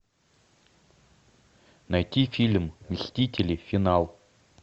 найти фильм мстители финал